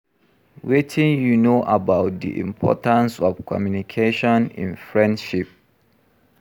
Wetin you know about di importance of communication in friendship?